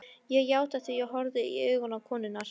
Ég játti því, horfði stíft í augu konunnar.